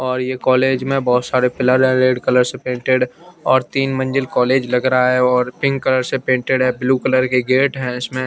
और ये कॉलेज में बहोत सारे पिलर हैं रेड कलर से पेंटेड और तीन मंजिल कॉलेज लग रहा है और पिंक कलर से पेंटेड है ब्लू कलर के गेट हैं इसमें--